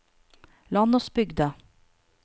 Landåsbygda